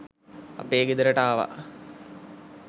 අපේ ගෙදරට ආවා.